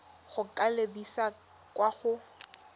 go ka lebisa kwa go